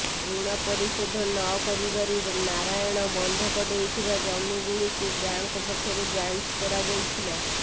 ଋଣ ପରିଶୋଧ ନ କରିବାରୁ ନାରାୟଣ ବନ୍ଧକ ଦେଇଥିବା ଜମିଗୁଡ଼ିକୁ ବ୍ୟାଙ୍କ ପକ୍ଷରୁ ଯାଞ୍ଚ କରାଯାଇଥିଲା